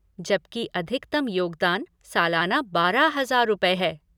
जबकि, अधिकतम योगदान सालाना बारह हजार रुपये हैं।